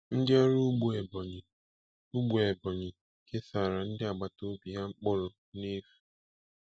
Ndị ọrụ ugbo Ebonyi ugbo Ebonyi kesara ndị agbata obi ha mkpụrụ n'efu.